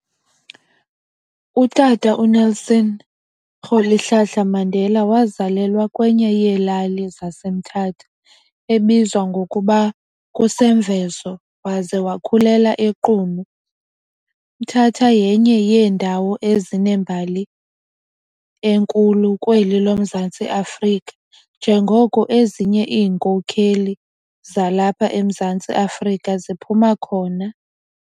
Utata u Nelson Rolihlahla Mandela wazelalwa kwenye yeelali zaseMthatha ebizwa ngokuba kuseMvezo waze wakhulela eQunu. Mthatha yenye yeendawo ezinembali enkhulu kweli loMzantsi Afrika njengoko ezinye iinkokheli zalapha eMzantsi Afrika ziphuma khona.